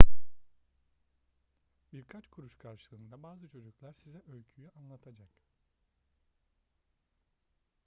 birkaç kuruş karşılığında bazı çocuklar size öyküyü anlatacak